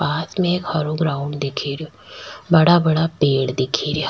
पास में एक हरो ग्राउंड दिख रो बड़ा बड़ा पेड़ दिख रा।